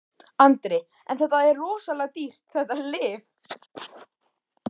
Andri: En þetta er rosalega dýrt þetta lyf?